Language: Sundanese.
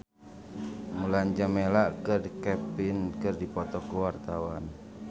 Mulan Jameela jeung Kevin McNally keur dipoto ku wartawan